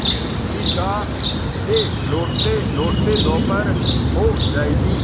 ईदगाह से लौटतेलौटते दोपहर हो जाएगी